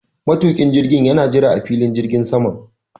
Matuƙin jirgin yana jira a filin jirgin saman.